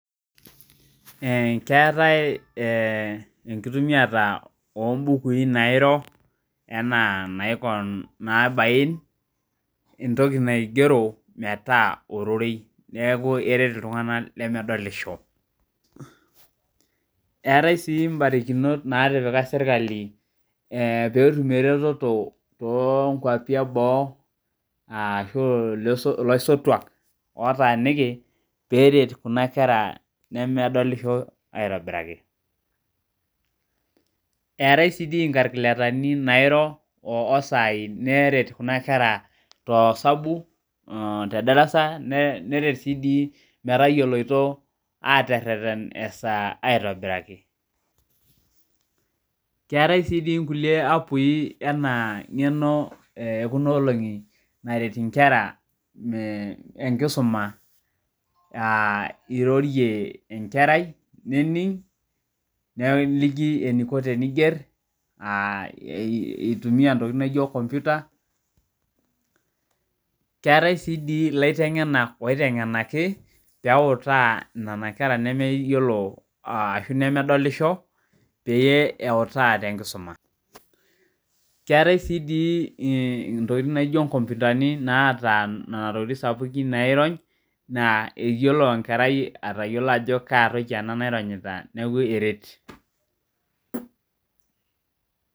Keetae tenkitumiata oo bukui ewueji nairo enaiko teniboin metaa ororoi etaa sii barakinot natipika sirkali pee etum eretoto too nkwapii eboo ashu elaisotuak oo taniki pee eret Kuna kerata nemedolisho aitobiraki etaai sii nkakiletani nairoo oo sai neret Kuna kera too sabu tee darasa neret sii metayiolo atereten ee saa aitobiraki keetae sii nkulie apps ena ng'eno ekuna olongi naretu enkera tee nkisuma aa eirori enkerai neliki eniko teniger eitumia ntokitin naijio kompita keetae sii elaitengenak oitengenaki peeyie ewuta Nena kera nemeyiolo ashu nemedolisho pee ewutaa tee nkisuma keetae doi sii entokitin naijio nkompitani nataa Nena tokitin sapukin nairony eyiolo enkerai Ajo Kaa toki ena naironyita neeku eret